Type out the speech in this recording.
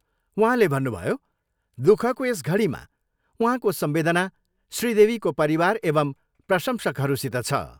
उहाँले भन्नुभयो, दुःखको यस घडीमा उहाँको संवेदना श्री देवीको परिवार एवं प्रसंशकहरूसित छ।